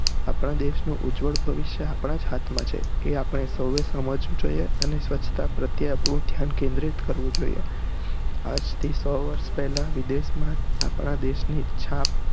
આપણા દેશ નો ઉજ્વળ ભવિષ્ય આપણા જ હાથ માં છે આપણે સૌ એ સમજવું જોઈએ અને સ્વચ્છતા પ્રત્યે આપણું ધ્યાન કેન્દ્રિત કરવું જોઈએ આજથી સૌ વરસ પહેલા વિદેશ માં આપણા દેશ ની છાપ